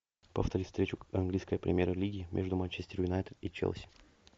повтори встречу английской премьер лиги между манчестер юнайтед и челси